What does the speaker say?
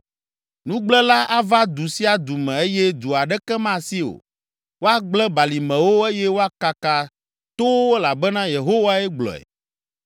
Nugblẽla ava du sia du me eye du aɖeke masi o. Woagblẽ balimewo eye woakaka towo elabena Yehowae gblɔe.